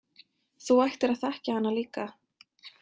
Þú ættir að þekkja hana líka.